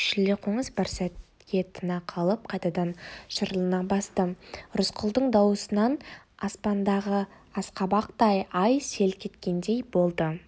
шілдеқоңыз бір сәтке тына қалып қайтадан шырылына басты рысқұлдың дауысынан аспандағы асқабақтай ай селк еткендей болды